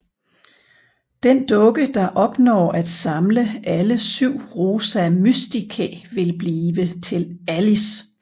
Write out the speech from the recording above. Den dukke der opnår at samle alle syv Rosa Mysticae vil blive til Alice